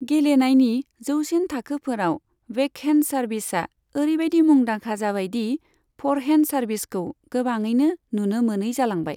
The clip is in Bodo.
गेलेनायनि जौसिन थाखोफोराव, बेकहेन्ड सार्भिसा ओरैबायदि मुंदांखा जाबायदि फ'रहेन्ड सार्भिसखौ गोबाङैनो नुनो मोनै जालांबाय।